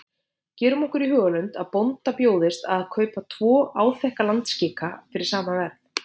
Gerum okkur í hugarlund að bónda bjóðist að kaupa tvo áþekka landskika fyrir sama verð.